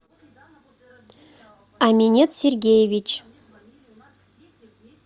аминет сергеевич